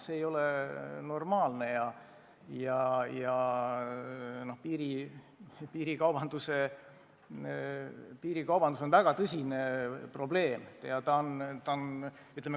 See ei ole normaalne ja piirikaubandus on väga tõsine probleem.